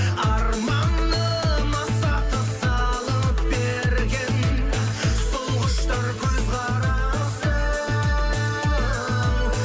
арманым аса тыс салып берген сол құштар көзқарасы